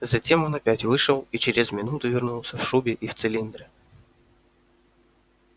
затем он опять вышел и через минуту вернулся в шубе и в цилиндре